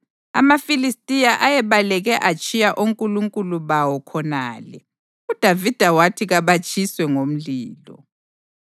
AmaFilistiya ayebaleke atshiya onkulunkulu bawo khonale, uDavida wathi kabatshiswe ngomlilo.